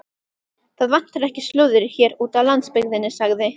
Það vantar ekki slúðrið hér úti á landsbyggðinni sagði